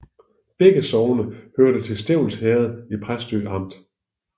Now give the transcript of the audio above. Begge sogne hørte til Stevns Herred i Præstø Amt